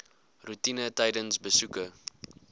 roetine tydens besoeke